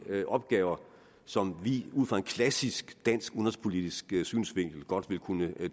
opgaver som vi ud fra en klassisk dansk udenrigspolitisk synsvinkel godt vil kunne